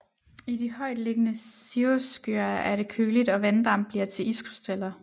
I de højt liggende cirrusskyer er det køligt og vanddamp bliver til iskrystaller